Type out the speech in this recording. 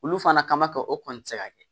Olu fana ka ma kɛ o kɔni ti se ka kɛ